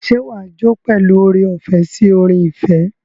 Ṣé wàá jó pẹ̀lú oore-ọ̀fẹ́ sí orin ìfẹ́?